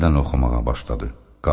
Əri yenidən oxumağa başladı.